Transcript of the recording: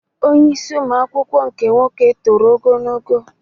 Onye isi ụmụ akwụkwọ nke nwoke toro ogologo